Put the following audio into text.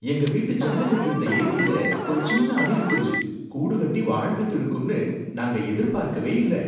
எங்க வீட்டு ஜன்னல்ல இருந்த ஏசில ஒரு சின்ன அணில் குஞ்சு கூடு கட்டி வாழ்ந்துட்டு இருக்கும்னு நாங்க எதிர்பார்க்கவே இல்ல.